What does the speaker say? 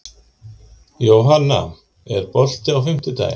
Jónanna, er bolti á fimmtudaginn?